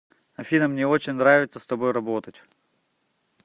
афина мне очень нравится с тобой работать